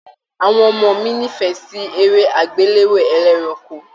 Àwọn ọmọ mí n'ifẹ sí eré agbelewo ẹlẹ́ranko.